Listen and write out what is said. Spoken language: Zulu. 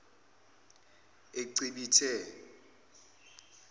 ecibithe